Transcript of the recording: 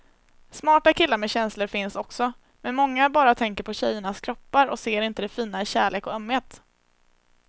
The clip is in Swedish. Smarta killar med känslor finns också, men många bara tänker på tjejernas kroppar och ser inte det fina i kärlek och ömhet.